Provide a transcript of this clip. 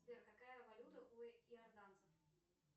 сбер какая валюта у иорданцев